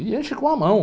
E enche com a mão.